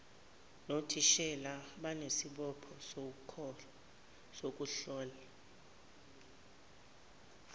nothisha banesibopho sokuhlola